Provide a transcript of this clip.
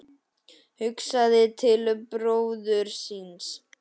Hugsaði til bróður síns.